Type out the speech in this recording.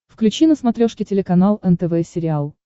включи на смотрешке телеканал нтв сериал